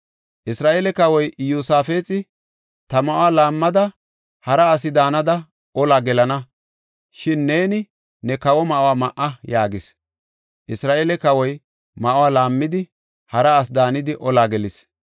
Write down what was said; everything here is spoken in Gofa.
Isra7eele kawoy Iyosaafexi, “Ta ma7uwa laammada, hara asi daanada olaa gelana; shin neeni ne kawo ma7uwa ma7a” yaagis. Isra7eele kawoy ma7uwa laammidi, hara asi daanidi olaa gelis.